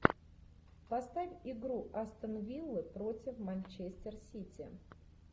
поставь игру астон виллы против манчестер сити